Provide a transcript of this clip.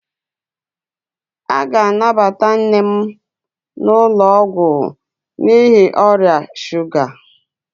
A ga-anabata nne m n'ụlọ ọgwụ n'ihi ọrịa shuga